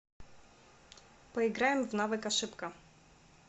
поиграем в навык ошибка